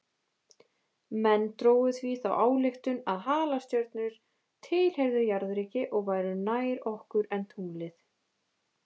Menn drógu því þá ályktun að halastjörnur tilheyrðu jarðríki og væru nær okkur en tunglið.